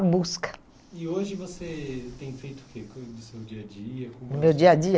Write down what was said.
busca. E hoje você tem feito o que coisas do seu dia a dia? Como? O meu dia a dia?